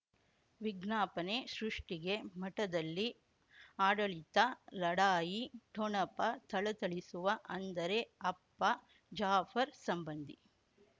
ವಿಜ್ಞಾಪನೆ ಸೃಷ್ಟಿಗೆ ಮಠದಲ್ಲಿ ಆಡಳಿತ ಲಢಾಯಿ ಠೊಣಪ ಥಳಥಳಿಸುವ ಅಂದರೆ ಅಪ್ಪ ಜಾಫರ್ ಸಂಬಂಧಿ